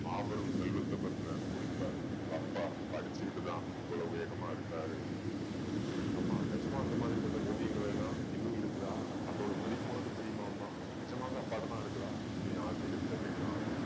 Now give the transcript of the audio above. மாபெரும் செல்வத்த பத்தின குறிப்பை உங்க அப்பா படிச்சுகிட்டு தான் இவ்வளவு வேகமா இருக்கிறாரு அப்படீன்னு சொல்லவும். அம்மா நிஜமா அந்த மாதிரி பட்ட ஓவியங்களெல்லாம் இன்னும் இருக்குதா? அதோட மதிப்பு உனக்கு தெரியுமா அம்மா. நிஜமாவே அப்பா கிட்ட தான் இருக்குதா அப்படீன்னு ஆச்சர்யத்துல கேக்கறான் அருள்.